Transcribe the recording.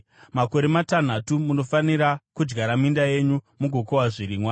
“Makore matanhatu munofanira kudyara minda yenyu mugokohwa zvirimwa,